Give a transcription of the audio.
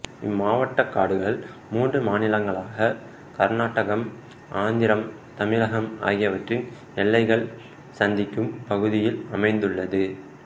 இம்மாவடட்டக் காடுகள் மூன்று மாநிலங்களான கர்நாடகம்ஆந்திரம் தமிழகம் ஆகியவற்றின் எல்லைகள் சந்திக்கும் பகுதியில் அமைந்துள்ளது